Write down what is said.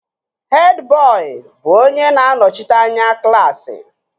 Hed bọị bụ onye na-anọchite anya klaasị